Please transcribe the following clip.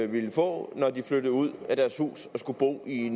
ville få når de flyttede ud af deres hus og skulle bo i